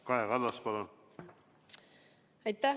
Kaja Kallas, palun!